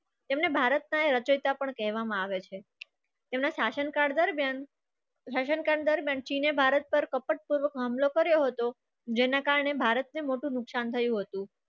તેમને ભારત ના રચેતા પણ કહેવામાં આવે છે. તેના શાસનકાળ દરમિયાન શાસનકાળ દરમિયાન ચીને ભારત પર કપટપૂર્વક હુમલો કર્યો હતો. જેના કારણે ભારતને મોટું નુકસાન થયું હતું.